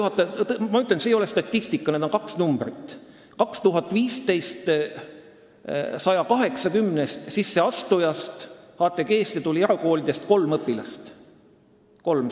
2015. aastal oli 180-st HTG-sse sisseastujast erakoolist pärit kolm.